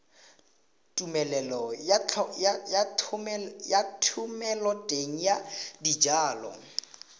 tumelelo ya thomeloteng ya dijalo